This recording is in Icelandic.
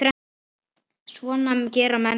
Svona gera menn ekki